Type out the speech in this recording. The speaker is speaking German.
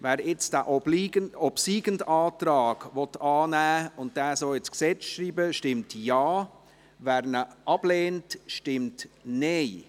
Wer nun den obsiegenden Antrag annehmen und diesen so ins Gesetz schreiben will, stimmt Ja, wer dies ablehnt, stimmt Nein.